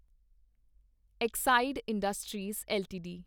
Exide Industries LTD